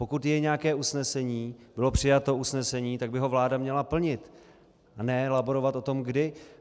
Pokud je nějaké usnesení - bylo přijato usnesení, tak by ho vláda měla plnit, a ne laborovat o tom kdy.